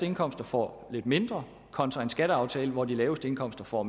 indkomster får lidt mindre kontra en skatteaftale hvor de laveste indkomster får